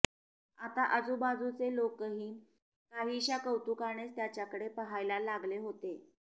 आता आजुबाजुचे लोकही काहीशा कौतूकानेच त्याच्याकडे पाहायला लागले होते